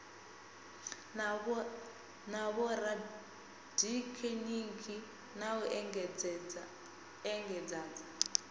na vhorathekhiniki na u engedzadza